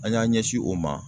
An y'an ɲɛsin o ma.